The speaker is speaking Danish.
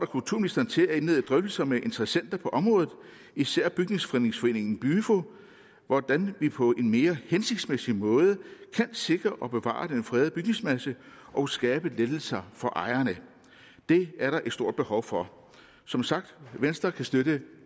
kulturministeren til at indlede drøftelser med interessenter på området især bygnings frednings foreningen om hvordan vi på en mere hensigtsmæssig måde kan sikre og bevare den fredede bygningsmasse og skabe lettelser for ejerne det er der et stort behov for som sagt venstre kan støtte